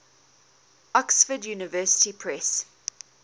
oxford university press